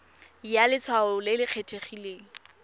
ya letshwao le le kgethegileng